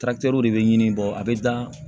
de bɛ ɲini a bɛ dan